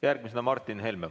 Järgmisena Martin Helme.